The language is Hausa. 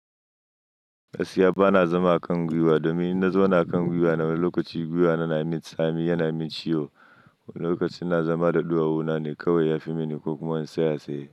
Gaskiya bana zama a kan gwiwa domin in na zauna a kan gwiwa, lokaci gwiwa na yana min tsami, yana min ciwo. Lokacin ina zama da ɗuwawona ne kawai ya fi mini kokuma in tsaya tsaye.